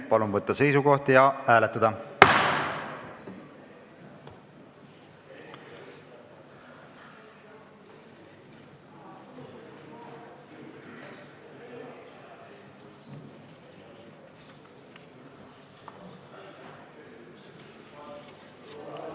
Palun võtta seisukoht ja hääletada!